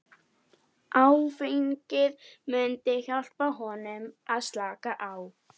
Áfengið myndi hjálpa honum að slaka á.